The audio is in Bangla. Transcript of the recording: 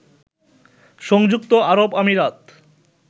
সংযুক্ত আরব আমিরাত